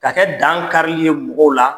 Ka kɛ dankari ye mɔgɔw la,